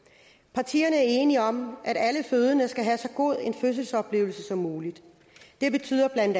partier er enige om at alle fødende skal have så god en fødselsoplevelse som muligt det betyder